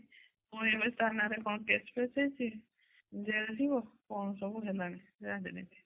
ପୁଣି ଏତେ ତ ନା ରେ କଣ case ଫେସ ହେଇଛି ଜେଲ ଯିବ କଣ ସବୁ ହେଲାଣି ରାଜନୀତି